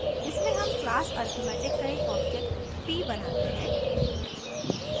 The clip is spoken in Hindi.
इसमें हम class arithmetic का एक object p बनाते हैं